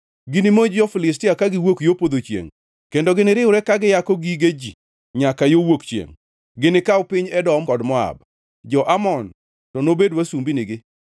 Ginimonj jo-Filistia kagiwuok yo podho chiengʼ, kendo giniriwre ka giyako gige ji nyaka yo wuok chiengʼ. Ginikaw piny Edom kod Moab, Jo-Amon to nobed wasumbinigi.